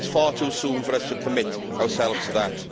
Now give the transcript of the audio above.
It is far too soon for us to commit ourselves to that.